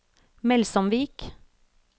Melsomvik